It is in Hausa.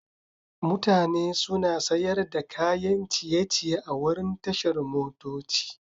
Mutane suna sayar da kayan ciye-ciye a wurin tashar motoci.